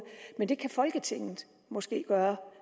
men det kan folketinget måske gøre